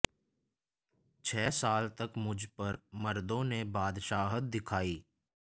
छह साल तक मुझ पर मर्दों ने बादशाहत दिखार्इ